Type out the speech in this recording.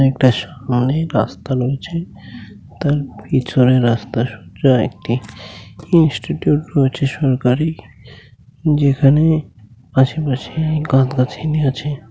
একটা সামনে রাস্তা রয়েছে তার পিছনে রাস্তায় সোজা একটি ইনস্টিটিউট রয়েছে সরকারি যেখানে আশেপাশে গাছ গাছিনি আছে।